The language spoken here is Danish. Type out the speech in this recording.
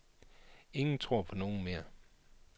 Ingen tror på nogen mere.